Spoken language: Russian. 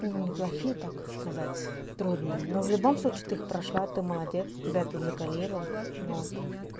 не плохие так сказать трудные но в любом случае ты их прошла ты молодец тебя ты закалило вот